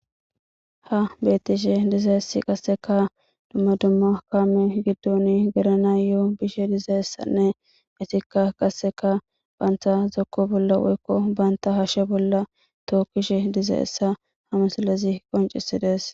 Ha betishe dizaysi qaseka duma duma kame gidon gelanayo bishe dizaysane etika qaseka banta zoko bola woyko banta hashe bola tokishe dizaysa ha missilezi qonc'isides.